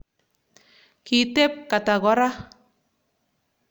Kiteb Kata kora